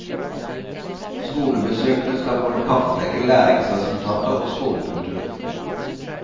Skolebesøkene skal både kartlegge læringsresultater og skolekultur.